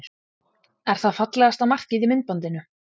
Er það fallegasta markið í myndbandinu?